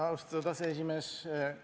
Austatud aseesimees!